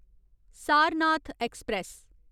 Sarnath express